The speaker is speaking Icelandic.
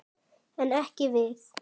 En ekki við.